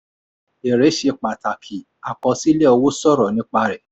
èrè ṣe pàtàkì àkọsílẹ̀ owó sọ̀rọ̀ nípa rẹ̀.